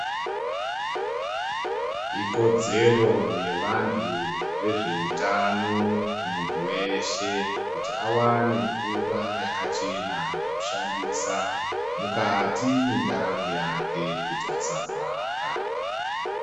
Ikodzero yevantu vezveutano kumuntu weshe kuti awane mvura yakachena yekushandisa mukati mwendaramo yake kuti asarwara